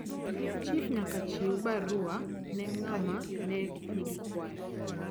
chif nyaka chiew barua ne ngama ne nigi kwayo